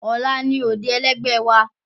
Ọlá ni òde ẹlẹ́gbẹ́ wa